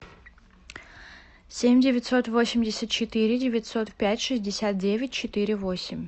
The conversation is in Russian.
семь девятьсот восемьдесят четыре девятьсот пять шестьдесят девять четыре восемь